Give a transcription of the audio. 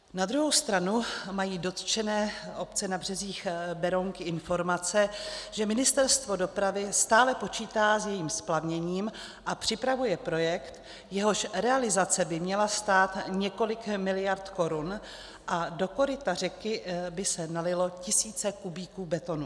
Na druhou stranu mají dotčené obce na březích Berounky informace, že Ministerstvo dopravy stále počítá s jejím splavněním a připravuje projekt, jehož realizace by měla stát několik miliard korun, a do koryta řeky by se nalily tisíce kubíků betonu.